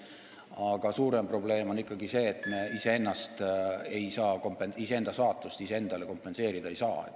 Aga suurem probleem on ikkagi see, et me iseenda saatust iseendale kompenseerida ei saa.